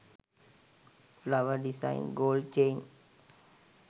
flower desing gold chain